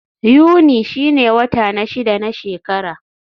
Yuni shine wata na shida na shekara.